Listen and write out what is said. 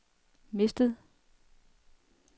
mistet